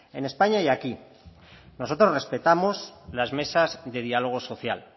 en españa y aquí nosotros respetamos las mesas de diálogo social